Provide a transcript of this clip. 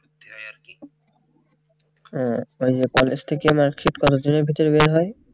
হ্যাঁ ওই যে college থেকে mark sheet college এর ভিতরে বের হয়